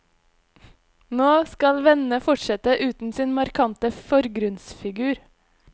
Nå skal vennene fortsette uten sin markante forgrunnsfigur.